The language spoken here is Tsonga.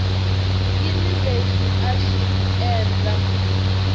yini lexi a xi endla